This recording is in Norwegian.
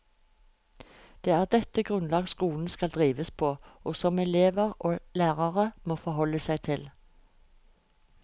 Det er dette grunnlag skolen skal drives på, og som elever og lærere må forholde seg til.